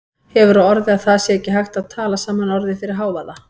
Hefur á orði að það sé ekki hægt að tala saman orðið fyrir hávaða.